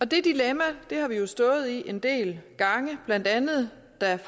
det dilemma har vi stået i en del gange blandt andet da